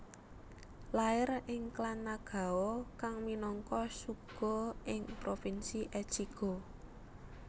Lair ing klan Nagao kang minangka shugo ing provinsi Echigo